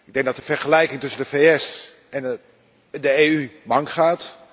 Ik denk dat de vergelijking tussen de VS en de EU mank gaat.